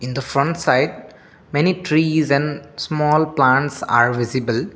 in the front side many trees is and small plants are visible.